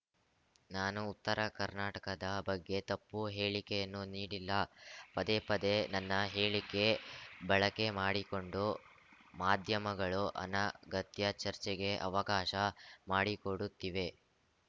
ನಾನು ಉತ್ತರ ಕರ್ನಾಟಕದ ಬಗ್ಗೆ ತಪ್ಪು ಹೇಳಿಕೆಯನ್ನು ನೀಡಿಲ್ಲ ಪದೇ ಪದೇ ನನ್ನ ಹೇಳಿಕೆ ಬಳಕೆ ಮಾಡಿಕೊಂಡು ಮಾಧ್ಯಮಗಳು ಅನಗತ್ಯ ಚರ್ಚೆಗೆ ಅವಕಾಶ ಮಾಡಿಕೊಡುತ್ತಿವೆ